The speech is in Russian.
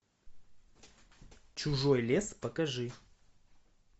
чужой лес покажи